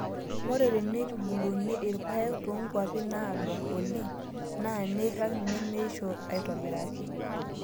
Ore teneitubuluni irpaek toonkwapi naado oleng' enaa nairag nemeishio aitobiraki.